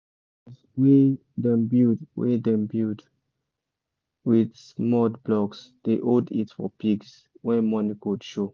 pig house wey dem build wey dem build with mud blocks dey hold heat for pigs when morning cold show